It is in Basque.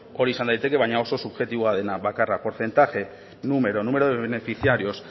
hori izan daiteke baina oso subjektiboa dena bakarra porcentaje número número de beneficiarios